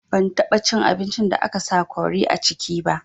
Ban taɓa cin abincin da aka sa kori a ciki ba